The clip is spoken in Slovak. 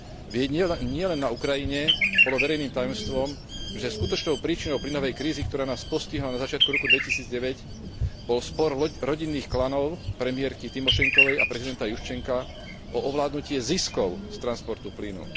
Veď nielen na Ukrajine bolo verejným tajomstvom, že skutočnou príčinou plynovej krízy, ktorá nás postihla na začiatku roku 2009 bol spor rodinných klanov premiérky Tymošenkovej a prezidenta Juščenka o ovládnutie ziskov z transportu plynu.